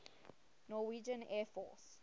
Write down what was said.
norwegian air force